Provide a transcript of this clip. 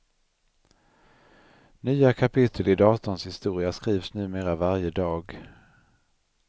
Nya kapitel i datorns historia skrivs numera varje dag.